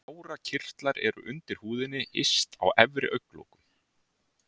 Tárakirtlar eru undir húðinni yst á efri augnlokum.